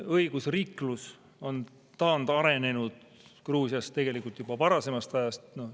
Õigusriiklus on taandarenenud Gruusias tegelikult juba varasemast ajast.